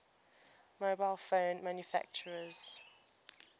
mobile phone manufacturers